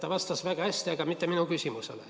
Ta vastas väga hästi, aga mitte minu küsimusele.